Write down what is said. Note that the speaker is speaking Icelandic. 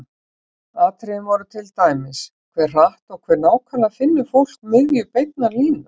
Atriðin voru til dæmis: Hve hratt og hve nákvæmlega finnur fólk miðju beinnar línu?